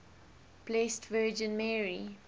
blessed virgin mary